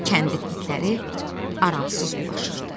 Kəndin itləri aramsız ulaşırdı.